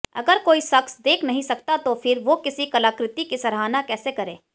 अगर कोई शख्स देख नहीं सकता तो फिर वो किसी कलाकृति की सराहना कैसे करे